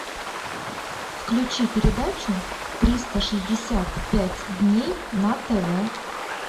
включи передачу триста шестьдесят пять дней на тв